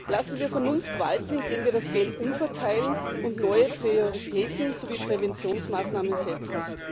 Lassen wir Vernunft walten, indem wir das Geld umverteilen und neue Prioritäten sowie Präventionsmaßnahmen setzen!